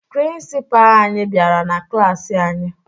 Prịnsịpaa anyị bịara na klaasị anyị